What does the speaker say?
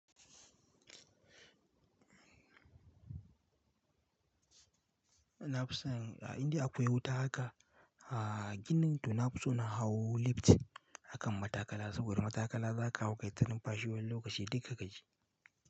Na fi san ah, indai akwai wuta haka, a ginin, to na fi so na hau lift. Akan matakala, saboda matakala za ka hau kai ta lumfashi wani lokaci dukka ka ji.